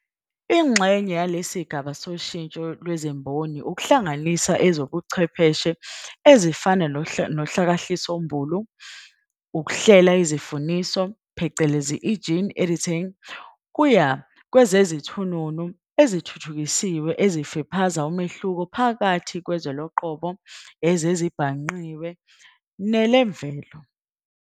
Ingxenye yalesigaba soshintsho lwezimboni ukuhlanganiswa kwezobuchwepheshe ezifana nohlakahlisombulu, ukuhlela izifuzisi, phecelezi gene editing", kuya kwezezithununu ezithuthukisiwe ezifiphaza umehluko phakathi kwezwe loqobo, lwezezibhangqiwe, nelemvelo.